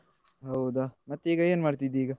ಹೌದ ಮತ್ತೆ ಈಗ ಏನ್ ಮಾಡ್ತಿದ್ದಿ ಈಗ?